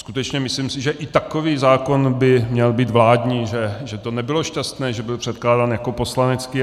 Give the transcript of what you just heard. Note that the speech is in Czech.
Skutečně si myslím, že i takový zákon by měl být vládní, že to nebylo šťastné, že byl předkládán jako poslanecký.